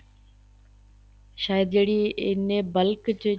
ਸਾਇਦ ਜਿਹੜੀ ਐਨੇ ਬੱਲਕ ਚ